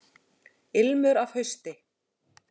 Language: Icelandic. Ilmur af hausti!